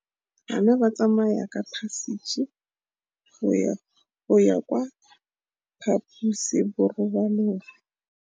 Bana ba tsamaya ka phašitshe go ya kwa phaposiborobalong.